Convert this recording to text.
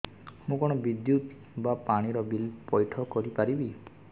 ମୁ କଣ ବିଦ୍ୟୁତ ବା ପାଣି ର ବିଲ ପଇଠ କରି ପାରିବି